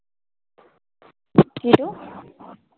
hello